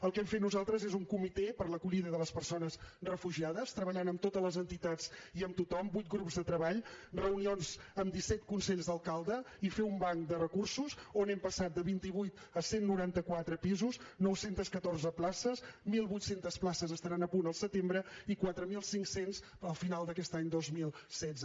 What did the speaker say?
el que hem fet nosaltres és un comitè per a l’acollida de les persones refugiades treballant amb totes les entitats i amb tothom vuit grups de treball reunions amb disset consells d’alcalde i fer un banc de recursos on hem passat de vint vuit a cent i noranta quatre pisos nou cents i catorze places mil vuit cents places estaran a punt al setembre i quatre mil cinc cents al final d’aquest any dos mil setze